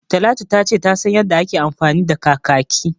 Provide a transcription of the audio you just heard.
Talatu ta ce ta san yanda ake amfani da kakaki